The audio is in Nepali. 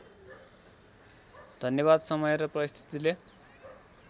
धन्यवाद समय र परिस्थितिले